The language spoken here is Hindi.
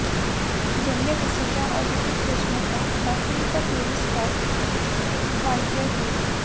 जेनेलिया डि सूजा और रितेश देशमुख का पसंदीदा टूरिस्ट स्पॉट वाईजैग है